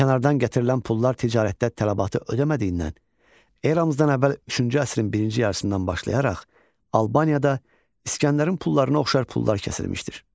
Kənardan gətirilən pullar ticarətdə tələbatı ödəmədiyindən eramızdan əvvəl üçüncü əsrin birinci yarısından başlayaraq Albaniyada İsgəndərin pullarına oxşar pullar kəsilmişdir.